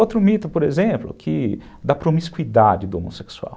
Outro mito, por exemplo, que dá promiscuidade do homossexual.